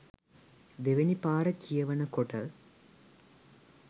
දෙවැනි පාර කියවන කොට